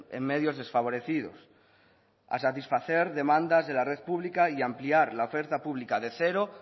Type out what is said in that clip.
en medios desfavorecidos a satisfacer demandas de la red pública y ampliar la oferta pública de cero